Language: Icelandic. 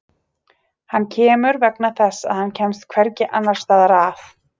Hann kemur vegna þess að hann kemst hvergi annars staðar að.